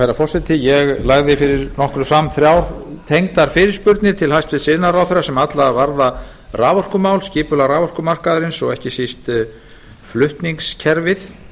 herra forseti ég lagði fyrir nokkru fram þrjár tengdar fyrirspurnir til hæstvirts iðnaðarráðherra sem allar varða raforkumál skipulag raforkumarkaðarins og ekki síst flutningskerfið